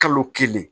Kalo kelen